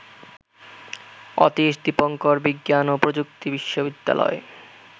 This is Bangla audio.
অতীশ দীপঙ্কর বিজ্ঞান ও প্রযুক্তি বিশ্ববিদ্যালয়